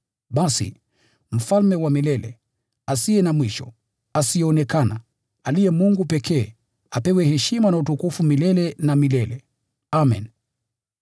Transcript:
Basi Mfalme wa milele, asiye na mwisho, asiyeonekana, aliye Mungu pekee, apewe heshima na utukufu milele na milele. Amen.